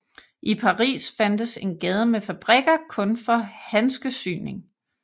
I Paris fandtes en gade med fabrikker kun for handskesyning